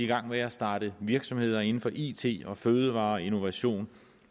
gang med at starte virksomheder inden for it og fødevarer og innovation